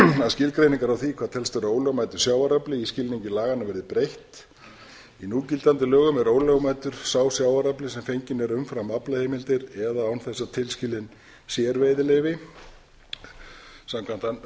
að skilgreiningar á því hvað telst vera ólögmætur sjávarafli í skilningi laganna verði breytt í núgildandi lögum er ólögmætur sá sjávarafli sem fenginn er umfram aflaheimildir eða án þess að tilskilin sér veiðileyfi samkvæmt